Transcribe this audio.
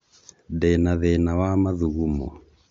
Ndĩna thĩna wa mathugumo